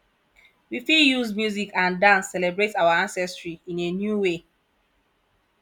we fit use music and dance celebrate our ancestry in a new way